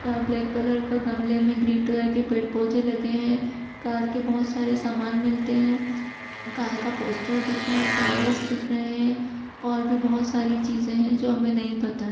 यहाँ black colour के गमले में ग्रीन कलर के पेड़ पौधे लगे हैं कार के बहोत सारे सामान मिलते हैं कार का पोस्टर दिख रहा है टायरस दिख रहे है और भी बहोत सारी चीजें हैं जो हमें नहीं पता है।